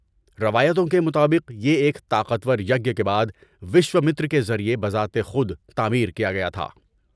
روایتوں کے مطابق، یہ ایک طاقتور یگیہ کے بعد وشومتر کے ذریعے بذات خود تعمیر کیا گیا تھا۔